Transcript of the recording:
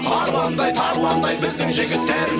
арландай тарландай біздің жігіттер